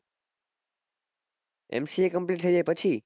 mca complete થઇ જાય પછી